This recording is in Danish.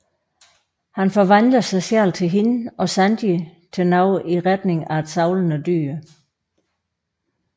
Han forvandler sig selv til hende og Sanji til noget i retning af et savlende dyr